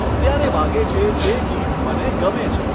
અત્યારે વાગે છે તે ગીત મને ગમે છે